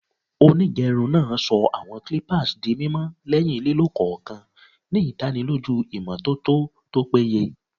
Onigerun naa sọ awọn clippers di mimọ lẹhin lilo kọọkan, ni idaniloju imototo to peye.